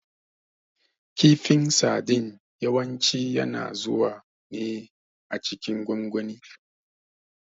Kifin sadin yawanci yana zuwa ne a cikin gwangwani.